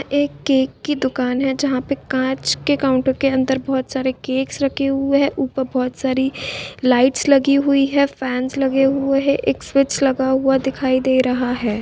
एक केक की दुकान है जहाँ पे कांच के काउंटर के अंदर बहुत सारे कैक्स रखे हुए है ऊपर बहुत सारी लाइट्स लगी हुई है फैन्स लगे हुए है एक स्विच लगा हुआ दिखाई दे रहा है।